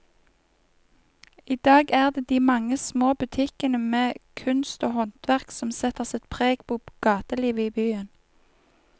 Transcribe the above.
I dag er det de mange små butikkene med kunst og håndverk som setter sitt preg på gatelivet i byen.